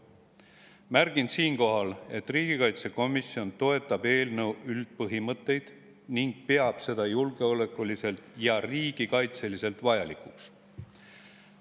Märgin siinkohal, et riigikaitsekomisjon toetab eelnõu üldpõhimõtteid ning peab seda julgeolekuliselt ja riigikaitseliselt vajalikuks.